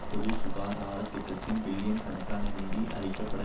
பொது சுகாதார திட்டத்திற்கு பில்லியன் கணக்கான நிதி அளிக்க பட